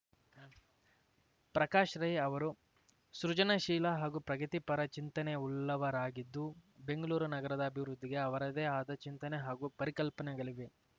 ಪ್ರಕಾಶ್ ರೈ ಅವರು ಸೃಜನಶೀಲ ಹಾಗೂ ಪ್ರಗತಿ ಪರ ಚಿಂತನೆ ಉಳ್ಳವರಾಗಿದ್ದು ಬೆಂಗಳೂರು ನಗರದ ಅಭಿವೃದ್ಧಿಗೆ ಅವರದೇ ಆದ ಚಿಂತನೆ ಹಾಗೂ ಪರಿಕಲ್ಪನೆಗಳಿವೆ